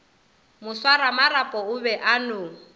moswaramarapo o be a no